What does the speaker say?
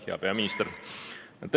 Hea peaminister!